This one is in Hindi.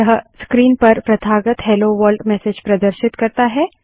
यह स्क्रीन पर प्रथागत हेलो वर्ल्ड मेसेज प्रदर्शित करता है